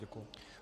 Děkuji.